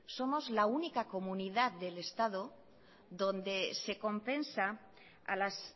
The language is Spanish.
somos la única comunidad del estado donde se compensa a las